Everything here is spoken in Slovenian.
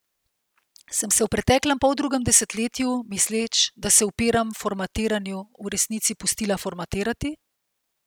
Sem se v preteklem poldrugem desetletju, misleč, da se upiram formatiranju, v resnici pustila formatirati?